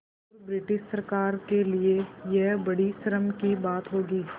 और ब्रिटिश सरकार के लिये यह बड़ी शर्म की बात होगी